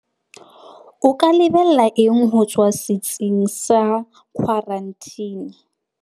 O ka lebella eng ho tswa setsing sa khwaranteni?